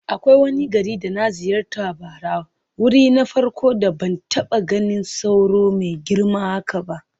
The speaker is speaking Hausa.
Akwai wani gari da na ziyarta bara, wuri na farko da ban taba ganin sauro mai girma haka ba.